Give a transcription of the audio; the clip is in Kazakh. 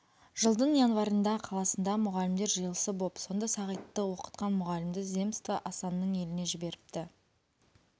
жылдың январында қаласында мұғалімдер жиылысы боп сонда сағитты оқытқан мұғалімді земства асанның еліне жіберіпті